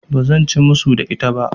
Ba zan ci musu da ita ba.